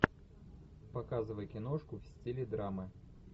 показывай киношку в стиле драмы